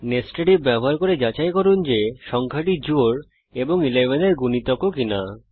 nested if ব্যবহার করে যাচাই করুন যে সংখ্যাটি জোড় এবং 11 এর গুনিতক ও কিনা